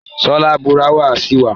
Sọ lárúbáwá sí wa.